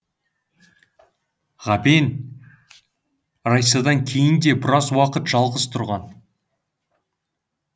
ғабең райсадан кейін де біраз уақыт жалғыз тұрған